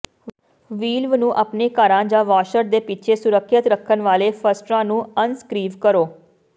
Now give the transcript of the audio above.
ਵ੍ਹੀਲਵ ਨੂੰ ਆਪਣੇ ਘਰਾਂ ਜਾਂ ਵਾੱਸ਼ਰ ਦੇ ਪਿੱਛੇ ਸੁਰੱਖਿਅਤ ਰੱਖਣ ਵਾਲੇ ਫਸਟਨਰਾਂ ਨੂੰ ਅਣਸਕਰੀਵ ਕਰੋ